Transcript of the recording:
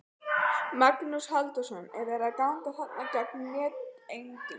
Magnús Halldórsson: Er verið að ganga þarna gegn neytendum?